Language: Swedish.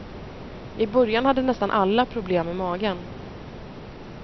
I början hade nästan alla problem med magen.